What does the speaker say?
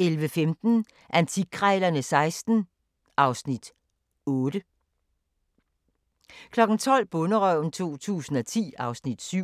11:15: Antikkrejlerne XVI (Afs. 8) 12:00: Bonderøven 2010 (Afs. 7)